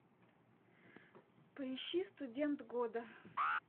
поищи студент года